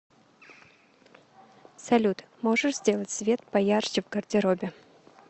салют можешь сделать свет поярче в гардеробе